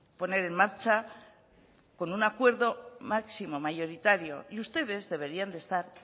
poner en marcha con un acuerdo máximo mayoritario y ustedes deberían de estar